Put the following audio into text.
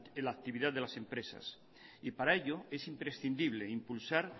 la actividad de las empresas y para ello es imprescindible impulsar